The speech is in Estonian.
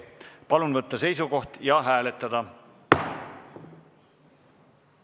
Palun võtta seisukoht ja hääletada!